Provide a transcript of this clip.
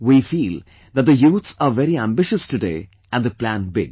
We feel that the youths are very ambitious today and they plan big